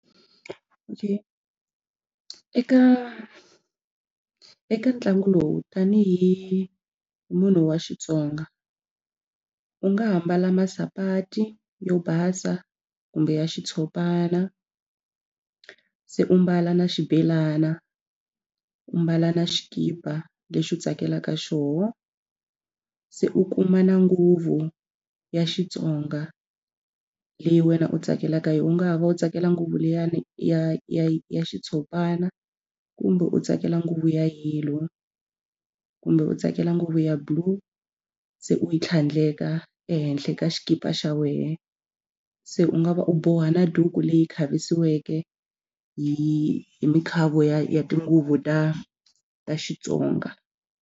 Okay, eka eka ntlangu lowu tanihi munhu wa Xitsonga u nga ha mbala masapati yo basa kumbe ya xitshopana se u mbala na xibhelana u ambala na xikipa lexi u tsakelaka xona se u kuma na nguvu ya Xitsonga leyi wena u tsakelaka yona. U nga ha va u tsakela ngopfu liya ya ya ya xitshopana kumbe u tsakela nguvu ya yellow kumbe u tsakela nguvu ya blue se u yi tlhandleka ehenhla ka xikipa xa wena se u nga va u boha na duku leyi khavisiweke hi hi mikhavo ya tinguvu ta ta Xitsonga.